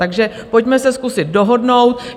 Takže pojďme se zkusit dohodnout.